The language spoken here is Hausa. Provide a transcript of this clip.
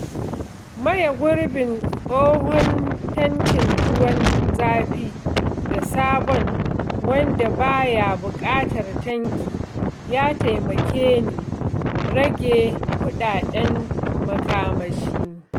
Maye gurbin tsohon tankin ruwan zafi da sabon wanda baya buƙatar tanki ya taimake ni rage kudaden makamashi.